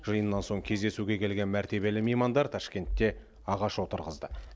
жиыннан соң кездесуге келген мәртебелі меймандар ташкентте ағаш отырғызды